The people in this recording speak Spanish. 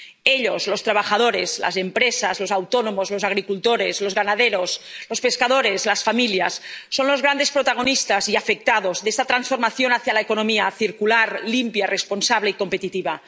Ellos ⸻los trabajadores, las empresas, los autónomos, los agricultores, los ganaderos, los pescadores, las familias⸻ son los grandes protagonistas y afectados de esta transformación hacia una economía circular, limpia, responsable y competitiva.